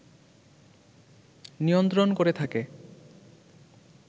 নিয়ন্ত্রণ করে থাকে